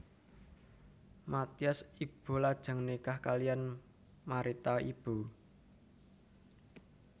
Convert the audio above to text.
Mathias Ibo lajeng nikah kaliyan Marita Ibo